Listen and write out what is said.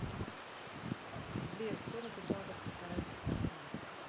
сбер кто написал бахчисарайский фонтан